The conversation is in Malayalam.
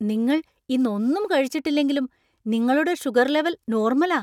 നിങ്ങൾ ഇന്ന് ഒന്നും കഴിച്ചിട്ടില്ലെങ്കിലും നിങ്ങളുടെ ഷുഗർ ലെവൽ നോർമലാ !